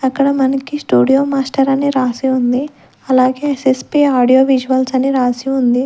అక్కడ మనకి studio master అని రాసి ఉంది అలాగే సెస్పీ ఆడియో విజువల్స్ అని రాసి ఉంది.